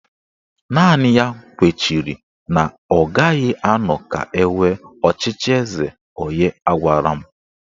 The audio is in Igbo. Naanị ya kwechiri na ọ gaghị anọ ka enwee ọchịchị eze onye agwala m